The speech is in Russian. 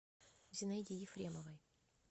зинаиде ефремовой